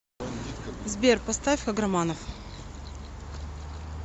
сбер поставь каграманов